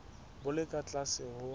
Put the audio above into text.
bo le ka tlase ho